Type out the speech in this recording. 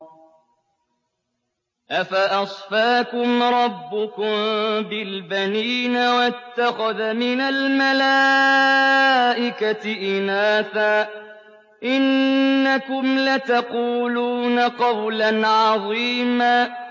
أَفَأَصْفَاكُمْ رَبُّكُم بِالْبَنِينَ وَاتَّخَذَ مِنَ الْمَلَائِكَةِ إِنَاثًا ۚ إِنَّكُمْ لَتَقُولُونَ قَوْلًا عَظِيمًا